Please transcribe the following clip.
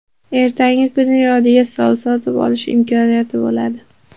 Ertangi kuni yodiga sol, sotib olish imkoniyati bo‘ladi.